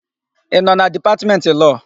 Ị nọ na Dipatmentị Lọọ?